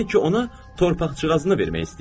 Yəni ki, ona torpaqçıqazını vermək istəyir.